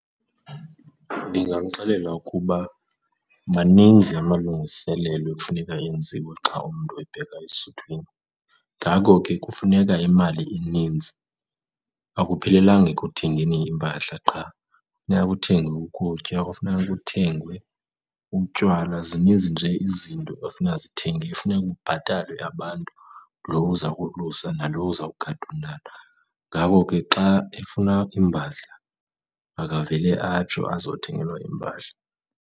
Ndingamxelela ukuba maninzi amalungiselelo ekufuneka enziwe xa umntu ebheka esuthwini ngako ke kufuneka imali enintsi, akuphelelanga ekuthengeni iimpahla qha. Funeka kuthengwe ukutya, kufuneka kuthengwe utywala, zininzi nje izinto efuneka zithengiwe. Kufuneka kubhatalwe abantu, loo uza kolusa nalo uzawugada umntana. Ngako ke xa efuna iimpahla makavele atsho azothengelwa iimpahla.